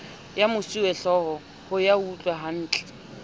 ya mosuwehlooho ho ya utlwahantle